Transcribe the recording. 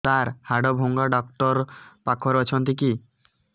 ସାର ହାଡଭଙ୍ଗା ଡକ୍ଟର ପାଖରେ ଅଛନ୍ତି କି